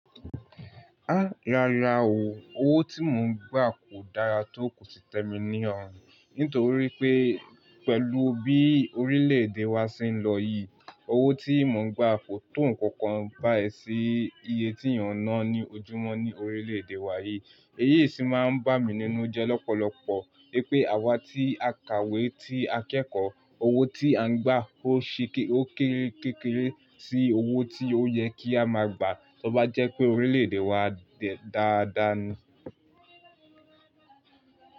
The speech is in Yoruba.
Rárá o, owó tí mò ń gbà kò dára tó kò sì tẹ́mi ní ọrùn. Nítorí pé pẹ̀lú bí orílẹ̀ èdè wa ṣe ń lọ yìí, owó tí mò ń gbà kò tó nǹkan kan bá èsì iye tí èèyàn ń ná ní ojúmọ́ ní orílẹ̀ èdè wa yìí. Eyí sì máa ń bá mi nínú jẹ́ lọ́pọ̀lọpọ̀ pé àwa tí a kàwé, tí a kẹ́kọ̀ọ́, owó tí à ń gbà ó ṣi kí ó kéré kéré sí owó tí ó yẹ kí a máa gbà tó bá jẹ́ pé orílẹ̀ èdè wa dà dáa ni.